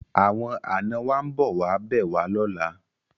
Awon ana wa nbo wa be wa lola